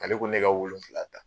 Ale ko ne ka wolonfila ta